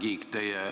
Härra Kiik!